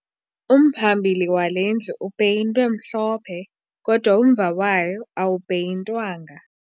Umphambili wale ndlu upeyintwe mhlophe kodwa umva wayo awupeyintwanga